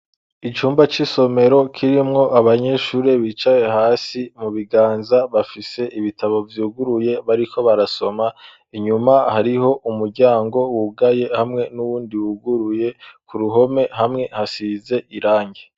Icumba c'isomero kirimwo abanyeshuri bicaye hasi. Mu biganza bafise ibitabo vyuguruye , bariko barasoma. Inyuma hariho umuryango wugaye, hamwe n'uwundi wuguruye. k'Uruhome hamwe hasize irangi.